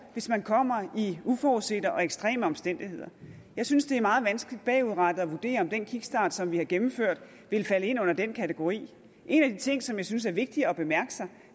hvis man kommer i uforudsete og ekstreme omstændigheder jeg synes det er meget vanskeligt bagudrettet at vurdere om den kickstart som vi har gennemført vil falde ind under den kategori en af de ting som jeg synes er vigtig at bemærke sig